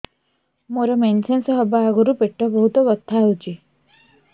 ମୋର ମେନ୍ସେସ ହବା ଆଗରୁ ପେଟ ବହୁତ ବଥା ହଉଚି